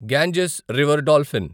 Ganges river dolphin